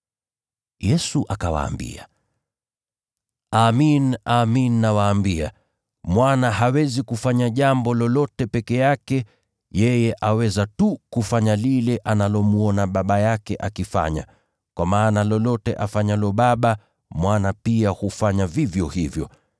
Yesu akawaambia, “Amin, amin nawaambia, Mwana hawezi kufanya jambo lolote peke yake, yeye aweza tu kufanya lile analomwona Baba yake akifanya, kwa maana lolote afanyalo Baba, Mwana pia hufanya vivyo hivyo.